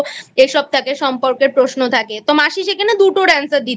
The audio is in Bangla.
এসব থাকে সম্পর্কের প্রশ্ন থাকে তো মাসি সেখানে দুটোর Answer দিতে